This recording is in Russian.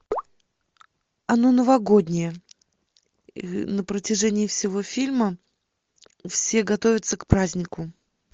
оно новогоднее на протяжении всего фильма все готовятся к празднику